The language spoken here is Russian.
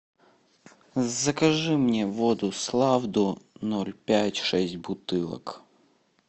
закажи мне воду славду ноль пять шесть бутылок